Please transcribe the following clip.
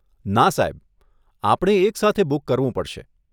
ના સાહેબ, આપણે એક સાથે બુક કરવું પડશે.